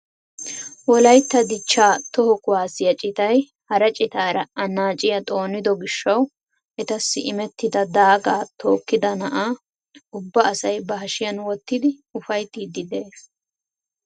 Wolayttaa dichchaa toho kuwaasiyaa citay hara citaara annaaciyaa xoonido giishshawu etassi imettida daagaa tookkida na'aa ubba asay ba hashiyaan wottidi ufayttiidi de'ees.